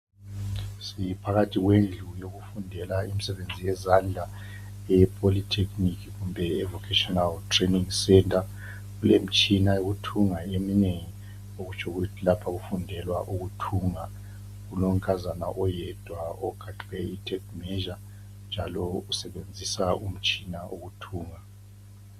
Siphakathi kwendlu yokufundela imisebenzi yezandla epholithekhinikhi kumbe evokhetshinali. Kulemitshina eminengi yokuthunga okutsho ukuthi lapha kufundelwa ukuthunga. Kulonkazana oyedwa ogaxe ithephu yokulinganisa njalo usebenźisa umtshina wokuthunga.